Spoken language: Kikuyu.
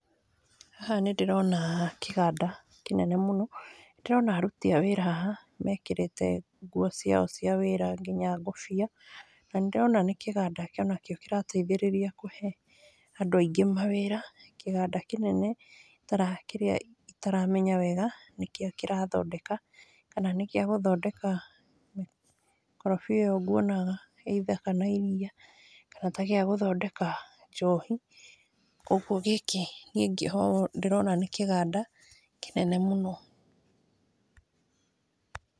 Haha nĩ ndĩrona kĩganda kĩnene mũno, ndĩrona aruti a wĩra haha mekĩrĩte nguo ciao cia wĩra nginya ngũbia, na nĩ ndĩrona nĩ kĩganda onakĩo kĩrateithĩrĩria kũhe andũ aingĩ mawĩra, kĩganda kĩnene itara kĩrĩa itaramenya wega nĩkĩo kĩrathondeka, kana nĩkĩa gũthondeka mĩkorobia ĩyo nguonaga either kana iria ,kana ta gĩa gũthondeka njohi, ũgwo gĩkĩ ningĩ ndĩrona nĩ kĩganda kĩnene mũno.